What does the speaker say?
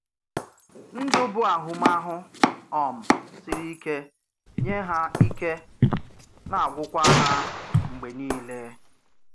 Ndụ bú ahụmahụ um siri ike nyé hà, ike na-agwụkwa hà mgbè nílé.